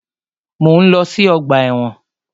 Mọ̀ ń lọ sí ọgbà ẹ̀wọ̀n.